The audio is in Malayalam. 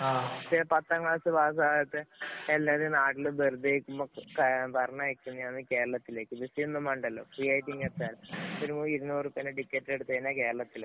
പക്ഷേ, പത്താംക്ലാസ് പാസാകാത്ത എല്ലാവരും നാട്ടില് വെറുതെ നില്‍ക്കുമ്പോള്‍ പറഞ്ഞയക്കുന്നതാണ് ഏഎ കേരളത്തില്‍. വിസയൊന്നും വേണ്ടല്ലോ. ഫ്രീയായിട്ട് ഇങ്ങു എത്താന്‍. ഒരു ഒരു ഇരുന്നൂറു രൂപ ടിക്കറ്റ് എടുത്തു കഴിഞ്ഞാല്‍ കേരളത്തിലെത്താം.